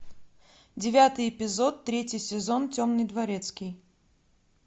девятый эпизод третий сезон темный дворецкий